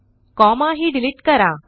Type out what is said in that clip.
comma ही delete करा